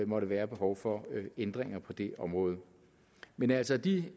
måtte være behov for ændringer på det område men altså af de